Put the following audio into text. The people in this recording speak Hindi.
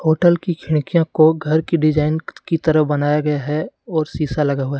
होटल की खिड़कियों को घर की डिजाइन की तरह बनाया गया है और शीशा लगा हुआ है।